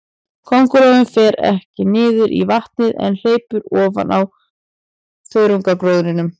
Köngulóin fer ekki niður í vatnið, en hleypur ofan á þörungagróðrinum.